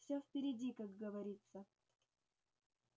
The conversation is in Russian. всё впереди как говорится